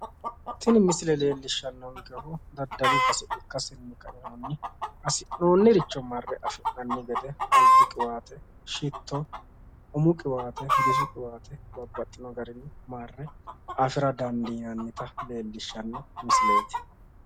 tini misile leellishshannonkehu daddalu base ikkassinni ka'inohunni hassi'noonniricho mare afi'nanni gede albu qiwaate shito umu qiwaate bisu qiwaate babbaxxino garinni marre afi'ra dandiinannita leellishshanno misileeti.